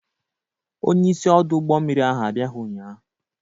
Onyeisi ọdụ ụgbọ mmiri ahụ abịaghị ụnyaahụ.